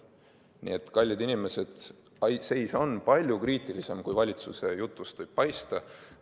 Nii et kallid inimesed, seis on palju kriitilisem, kui valitsuse jutust võib paista.